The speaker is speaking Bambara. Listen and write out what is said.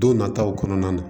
Don nataw kɔnɔna na